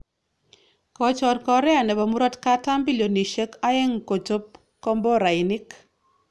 Kochor Korea nebo murotkatam bilionisyek aeng kochob komborainik